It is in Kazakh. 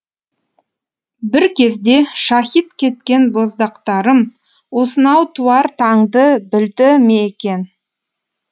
бір кезде шаһит кеткен боздақтарым осынау туар таңды білді ме екен